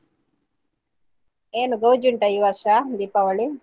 ಏನು ಗೌಜಿ ಉಂಟಾ ಈ ವರ್ಷ ದೀಪಾವಳಿ?